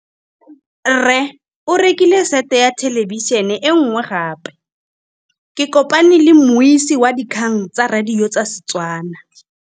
Rre o rekile sete ya thêlêbišênê e nngwe gape. Ke kopane mmuisi w dikgang tsa radio tsa Setswana.